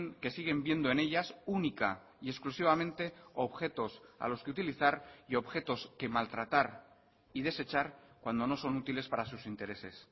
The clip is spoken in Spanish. que siguen viendo en ellas única y exclusivamente objetos a los que utilizar y objetos que maltratar y desechar cuando no son útiles para sus intereses